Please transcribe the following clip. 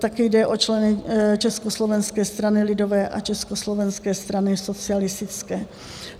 také jde o členy Československé strany lidové a Československé strany socialistické.